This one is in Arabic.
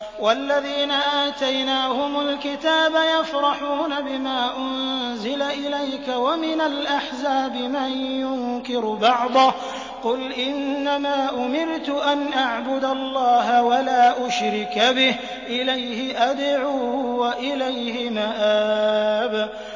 وَالَّذِينَ آتَيْنَاهُمُ الْكِتَابَ يَفْرَحُونَ بِمَا أُنزِلَ إِلَيْكَ ۖ وَمِنَ الْأَحْزَابِ مَن يُنكِرُ بَعْضَهُ ۚ قُلْ إِنَّمَا أُمِرْتُ أَنْ أَعْبُدَ اللَّهَ وَلَا أُشْرِكَ بِهِ ۚ إِلَيْهِ أَدْعُو وَإِلَيْهِ مَآبِ